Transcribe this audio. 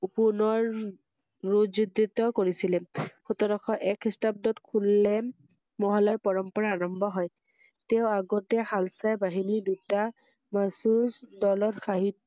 পুনৰ~ৰু যোদ্বিত কৰিছিলে ৷সোতৰশ এক খ্ৰীস্টাব্দত কুলে~ন মহলায় পৰম্পৰা আৰম্ভ হয়৷তেওঁ আগেত শালাচাই বাহিনী দুটা নৈতিক দলৰ সাহি